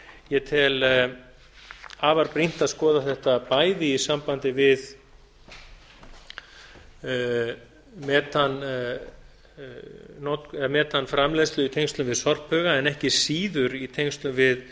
ég tel afar brýnt að skoða þetta bæði í sambandi við metanframleiðslu í tengslum við sorphauga en ekki síður í tengslum